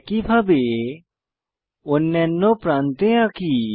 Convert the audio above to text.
একইভাবে অন্যান্য প্রান্তে আঁকি